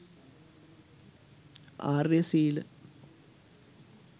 ආර්ය සීල